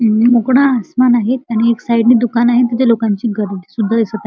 अ मुकडा आसमान आहे त्यानी एक साइड नी दुकान आहे तिथे लोकांची गर्दी सुधा दिसत आ --